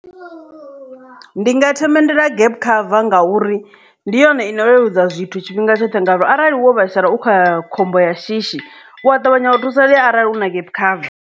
Ndi nga themendela gap cover ngauri ndi yone ine leludza zwithu tshifhinga tshoṱhe ngauri arali wo vhaisala u kha khombo ya shishi u a ṱavhanya u thusalea arali u na gap cover.